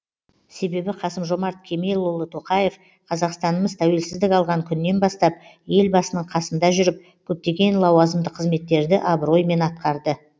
себебі қасым жомарт кемелұлы тоқаев қазақстанымыз тәуелсіздік алған күннен бастап елбасының қасында жүріп көптеген лауазымды қызметтерді абыроймен атқарды